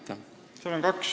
Aitäh!